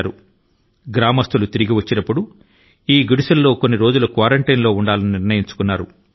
ఆ వ్యక్తులు ఎవరైతే గ్రామాని కి తిరిగి చేరుకొంటారో వారు మొదట ఈ గుడిసె ల లో కొన్ని రోజులు ఏకాంతవాసం లో ఉండాలన్నది గ్రామీణుల నిర్ణయం